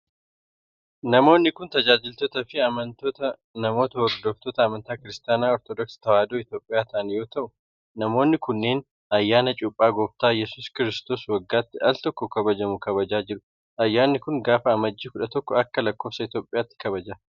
Namoonni kun tajaajiltoota fi amntoota namoota hordoftoota amantaa Kiristaana Ortodooksii Tawaahidoo Itoophiyaa ta'an yoo ta'u, namoonni kunneen ayyana Cuuphaa Gooftaa Iyyasuus Kiristoos waggaatti aal tokko kabajamu kabajaa jiru. Ayyaanni kun, gaafa amajjii 11 akka lakkoofsa Itoophiyaatti kabajama.